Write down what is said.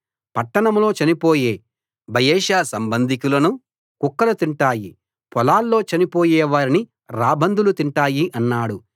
పట్టణంలో చనిపోయే బయెషా సంబంధికులను కుక్కలు తింటాయి పొలాల్లో చనిపోయే వారిని రాబందులు తింటాయి అన్నాడు